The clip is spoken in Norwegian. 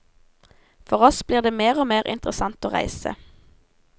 For oss blir det mer og mer interessant å reise.